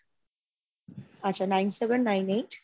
আচ্ছা nine, seven, nine, eight,